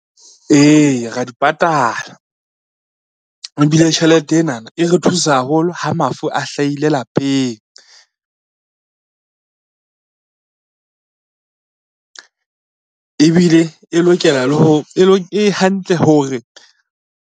Ee ra di patala, ebile tjhelete enana e re thusa haholo ha mafu a hlahile lapeng e hantle hore.